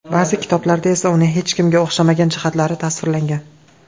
Ba’zi kitoblarda esa uning hech kimga o‘xshamagan jihatlari tasvirlangan.